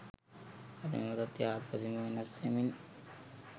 අද එම තත්වය හාත්පසින් ම වෙනස් වෙමින්